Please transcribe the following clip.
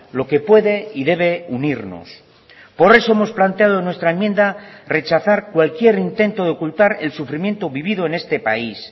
lo que puede y debe unirnos por eso hemos planteado nuestra enmienda rechazar cualquier intento de ocultar el sufrimiento vivido en este país